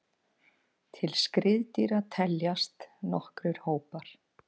Til skriðdýra teljast nokkrir hópar.